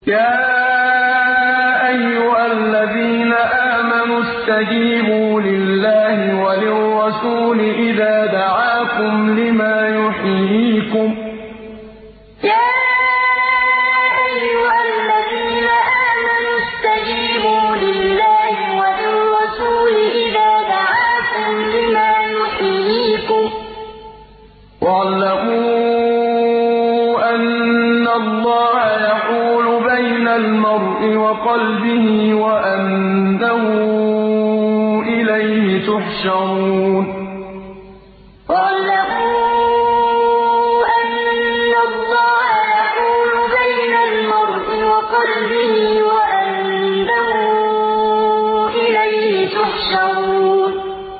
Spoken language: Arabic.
يَا أَيُّهَا الَّذِينَ آمَنُوا اسْتَجِيبُوا لِلَّهِ وَلِلرَّسُولِ إِذَا دَعَاكُمْ لِمَا يُحْيِيكُمْ ۖ وَاعْلَمُوا أَنَّ اللَّهَ يَحُولُ بَيْنَ الْمَرْءِ وَقَلْبِهِ وَأَنَّهُ إِلَيْهِ تُحْشَرُونَ يَا أَيُّهَا الَّذِينَ آمَنُوا اسْتَجِيبُوا لِلَّهِ وَلِلرَّسُولِ إِذَا دَعَاكُمْ لِمَا يُحْيِيكُمْ ۖ وَاعْلَمُوا أَنَّ اللَّهَ يَحُولُ بَيْنَ الْمَرْءِ وَقَلْبِهِ وَأَنَّهُ إِلَيْهِ تُحْشَرُونَ